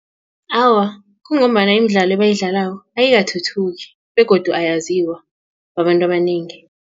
Awa, kungombana imidlalo ebayidlalako ayikathuthuki begodu ayaziwa babantu abanengi.